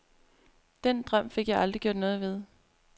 Den drøm fik jeg aldrig gjort noget ved.